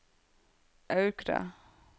Aukra